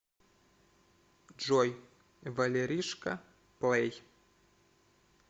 джой валеришка плэй